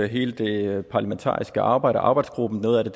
hele det parlamentariske arbejde arbejdsgruppen noget af